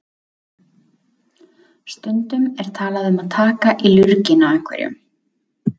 Stundum er talað um að taka í lurginn á einhverjum.